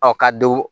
Ɔ ka don